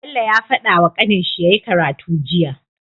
Bello ya fadawa kanin shi yyi karatu jiya